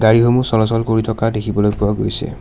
গাড়ীসমূহ চলাচল কৰি থকা দেখিবলৈ পোৱা গৈছে।